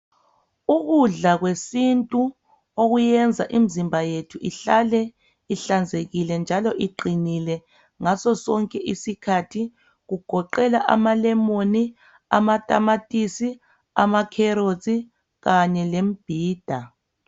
Ukudla kwesintu okwenza imizimba yethu ihlale ihlanzekile njalo iqinile ngaso sonke isikhathi kugoqela amalemon amatamatisi amakherotsi Kanye lemimbhida.